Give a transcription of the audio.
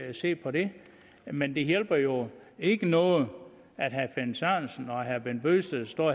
at se på det men det hjælper jo ikke noget at herre finn sørensen og herre bent bøgsted står